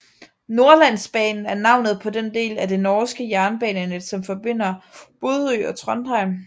Nordlandsbanen er navnet på den del af det norske jernbanenet som forbinder Bodø og Trondheim